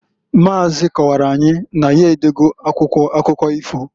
Maazị kọwaara anyị na ya edo go akwụkwọ akụkọ ifo.